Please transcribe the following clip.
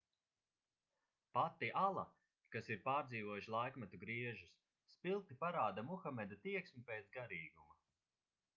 pati ala kas ir pārdzīvojusi laikmetu griežus spilgti parāda muhameda tieksmi pēc garīguma